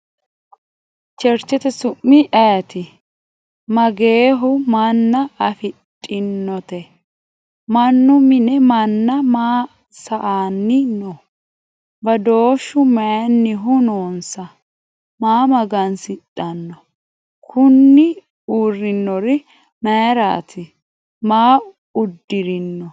Cherichete su'mi ayiitti? Mageehu manna afidhinnotte? Mannu mine manna maa saanni noo? Badooshshu mayiinnihu noonnsa? Maa magansidhanno? Kunni uriinnori mayiiratti? Maa udirinno?